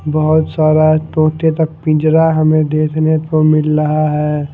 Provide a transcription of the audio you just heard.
बहोत सारा तोते तक पिंजरा हमें देखने को मिल रहा है।